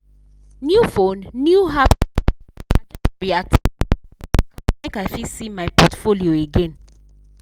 new phone new app setup i just reactivate my account make i fit see my portfolio again.